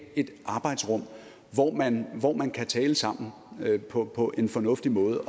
et arbejdsrum hvor man hvor man kan tale sammen på en fornuftig måde